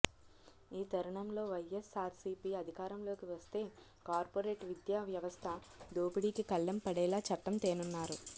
ఈ తరుణంలో వైఎస్సార్సీపీ అధికారంలోకి వస్తే కార్పొరేట్ విద్య వ్యవస్థ దోపిడీకి కళ్లెం పడేలా చట్టం తేనున్నారు